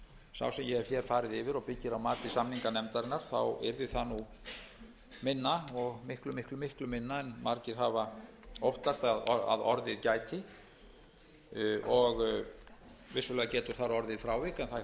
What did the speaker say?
sá sem ég hef hér farið yfir og byggir á mati samninganefndarinnar yrði það minna og miklu minna en margir hafa óttast að orðið gæti vissulega getur þar á orðið frávik en það